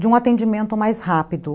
de um atendimento mais rápido.